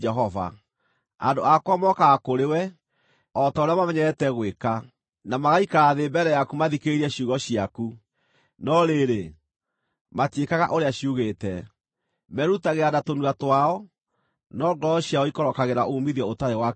Andũ akwa mokaga kũrĩ we, o ta ũrĩa mamenyerete gwĩka, na magaikara thĩ mbere yaku mathikĩrĩrie ciugo ciaku, no rĩrĩ, matiĩkaga ũrĩa ciugĩte. Merutagĩra na tũnua twao, no ngoro ciao ikorokagĩra uumithio ũtarĩ wa kĩhooto.